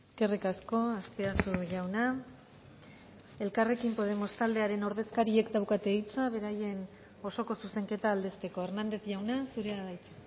eskerrik asko azpiazu jauna elkarrekin podemos taldearen ordezkariek daukate hitza beraien osoko zuzenketa aldezteko hernández jauna zurea da hitza